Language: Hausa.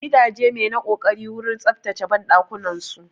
Gidajen mai na ƙoƙari wurin tsaftace banɗakunan su.